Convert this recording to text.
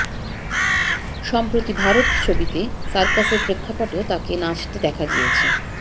সম্প্রতি ভারত ছবিতে সার্কাসের প্রেক্ষাপটেও তাঁকে নাচতে দেখা গিয়েছে